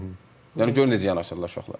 Yəni görün necə yanaşırlar uşaqlar.